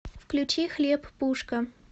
включи хлеб пушка